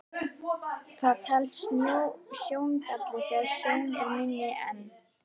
Það telst sjóngalli þegar sjón er minni en